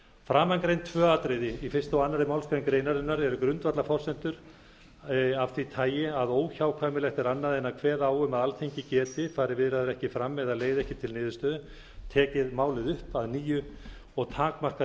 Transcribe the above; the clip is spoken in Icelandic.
framangreind tvö atriði í fyrsta og annarri málsgrein greinarinnar eru grundvallarforsendur af því tagi að óhjákvæmilegt er annað en að kveða á um að alþingi geti fari viðræður ekki fram eða leiði ekki til niðurstöðu tekið málið upp að nýju og takmarkað